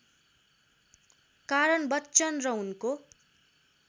कारण बच्चन र उनको